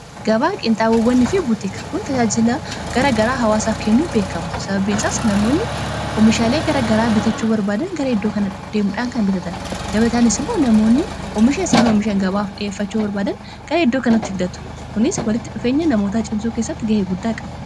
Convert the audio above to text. gabaa qiinxaawawwani fi butiik kun tajaajilaa gara garaa hawaasaaf kennuun beekamu sababbiin isaas namoonni oomishaalee gara garaa bitachuu barbaadan gara iddoo kana deemuudhaan kan bitatan qabataanis moo namoonni oomisha isaan oomishan gabaaf dhiyeeffachuu barbaadan gara hiddoo kanatti fidatu kunis walitti dhufeenya namootaa cimsuu kessatti ga'ee guddaa qabu